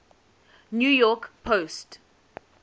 new york post